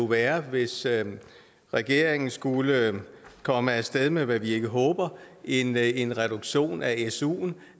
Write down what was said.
være hvis regeringen skulle komme af sted med hvad vi ikke håber en en reduktion af suen